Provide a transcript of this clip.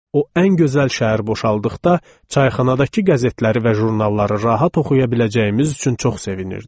O ən gözəl şəhər boşaldıqda, çayxanadakı qəzetləri və jurnalları rahat oxuya biləcəyimiz üçün çox sevinirdik.